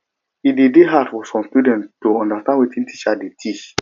e de dey hard for some students to understand wetin teacher de teach